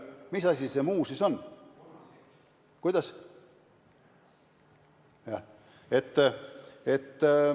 Mis muu asi see siis veel on?